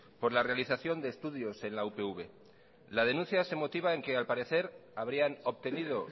por la realización de estudios en la upv la denuncia se motiva en que al parecer habrían obtenido